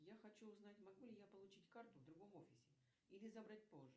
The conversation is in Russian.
я хочу узнать могу ли я получить карту в другом офисе или забрать позже